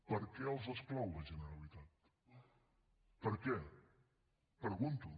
per què els exclou la generalitat per què ho pregunto